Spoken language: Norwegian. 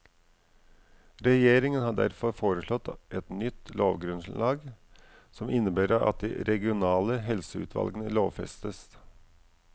Regjeringen har derfor foreslått et nytt lovgrunnlag som innebærer at de regionale helseutvalgene lovfestes.